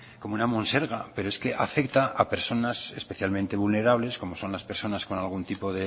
como una monserga pero es que afecta a personas especialmente vulnerables como son las personas con algún tipo